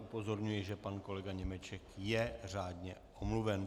Upozorňuji, že pan kolega Němeček je řádně omluven.